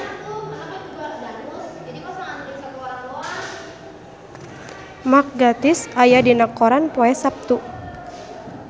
Mark Gatiss aya dina koran poe Saptu